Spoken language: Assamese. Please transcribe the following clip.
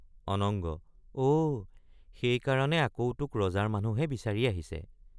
অনঙ্গ—অ সেইকাৰণে আকৌ তোক ৰজাৰ মানুহে বিচাৰি আহিছে।